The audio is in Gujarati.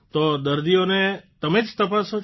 તો દર્દીઓને તમે જ તપાસો છો